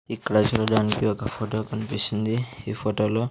ఇక్కడ చూడడానికి ఒక ఫోటో కనిపిస్తుంది ఈ ఫోటోలో --